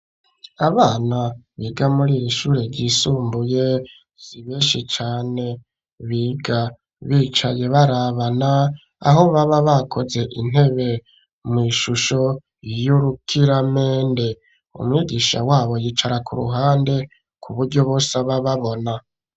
Abana biga muri ir'ishure ry'isumbuye zibeshe cane biga bicaye barabana aho baba bakoze intebe mw'ishusho y'urukiramende umwigisha wabo yicara ku ruhande ku buryo bose aba ababona.